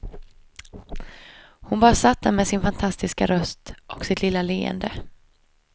Hon bara satt där med sin fantastiska röst och sitt lilla leende.